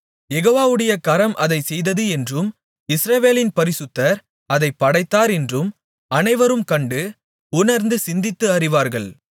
யெகோவாவுடைய கரம் அதைச் செய்தது என்றும் இஸ்ரவேலின் பரிசுத்தர் அதைப் படைத்தார் என்றும் அனைவரும் கண்டு உணர்ந்து சிந்தித்து அறிவார்கள்